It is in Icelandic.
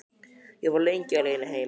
Ég var lengi á leiðinni heim.